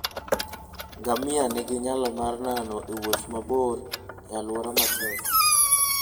Ngamia nigi nyalo mar nano e wuoth mabor e alwora matek.